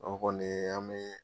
O kɔni an mii